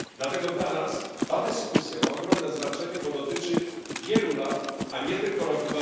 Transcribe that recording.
Dlatego dla nas ta dyskusja ma ogromne znaczenie, bo dotyczy wielu lat, a nie tylko roku